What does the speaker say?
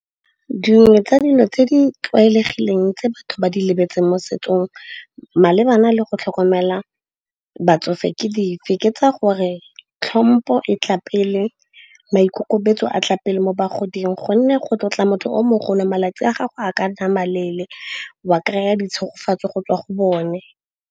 Dingwe tsa dilo tse di tlwaelegileng tse batho ba di lebetseng mo setsong malebana le go tlhokomela batsofe ke di feketsa gore tlhompho e tla pele, maikemisetso a tla pele mo bagoding. Gonne go tlotla motho o mogolong malatsi a gago a ka nama leele wa, kry-a ditshogofatso go tswa go bone.